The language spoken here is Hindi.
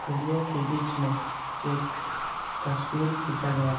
फूलों के बीच में एक तस्वीर खींचा गया।